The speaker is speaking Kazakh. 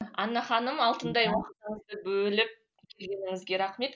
анна ханым алтындай бөліп келгеніңізге рахмет